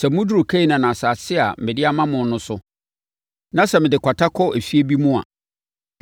“Sɛ moduru Kanaan asase a mede ama mo no so, na sɛ mede kwata kɔ afie bi mu a,